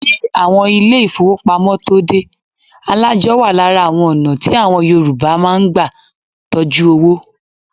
Kí àwọn ilé ìfọwọ́pamo tóo dé, alájọ́ wa lára àwọn ọ̀nà tí àwọn Yorùbá má ń gbà tọjú owó.